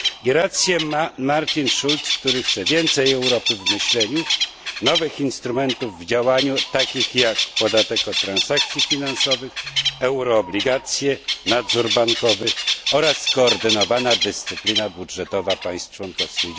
Rację ma Martin Schulz, który chce więcej Europy w myśleniu, nowych instrumentów w działaniu, takich jak podatek od transakcji finansowych, euroobligacje, nadzór bankowy oraz skoordynowana dyscyplina budżetowa państw członkowskich.